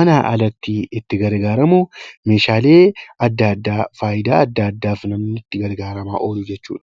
manaa alatti itti gargaaramu meeshaalee adda addaa fayidaa adda addaaf namni itti gargaaramaa oolu jechuudha